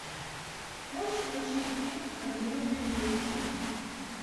можешь включить фильм одинокие вместе